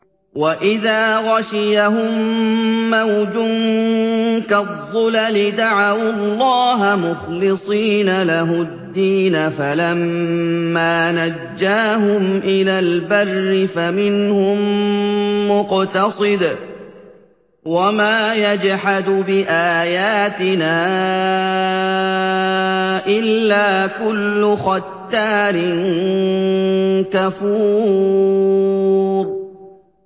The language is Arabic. وَإِذَا غَشِيَهُم مَّوْجٌ كَالظُّلَلِ دَعَوُا اللَّهَ مُخْلِصِينَ لَهُ الدِّينَ فَلَمَّا نَجَّاهُمْ إِلَى الْبَرِّ فَمِنْهُم مُّقْتَصِدٌ ۚ وَمَا يَجْحَدُ بِآيَاتِنَا إِلَّا كُلُّ خَتَّارٍ كَفُورٍ